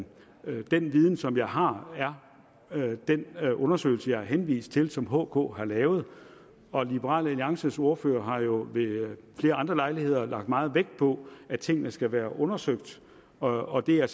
den viden som jeg har er den undersøgelse som jeg har henvist til og som hk har lavet liberal alliances ordfører har jo ved flere andre lejligheder lagt meget vægt på at tingene skal være undersøgt og det er